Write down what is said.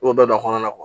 I b'o bɛɛ don a kɔnɔ